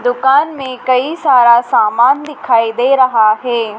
दुकान में कई सारा सामान दिखाई दे रहा है।